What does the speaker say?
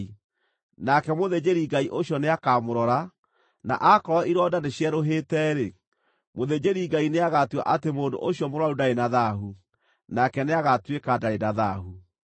Nake mũthĩnjĩri-Ngai ũcio nĩakamũrora, na aakorwo ironda nĩcierũhĩte-rĩ, mũthĩnjĩri-Ngai nĩagatua atĩ mũndũ ũcio mũrũaru ndarĩ na thaahu, nake nĩagatuĩka ndarĩ na thaahu.